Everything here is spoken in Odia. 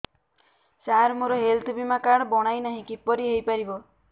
ସାର ମୋର ହେଲ୍ଥ ବୀମା କାର୍ଡ ବଣାଇନାହିଁ କିପରି ହୈ ପାରିବ